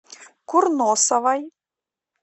курносовой